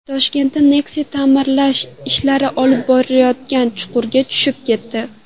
Toshkentda Nexia ta’mirlash ishlari olib borilayotgan chuqurga tushib ketdi.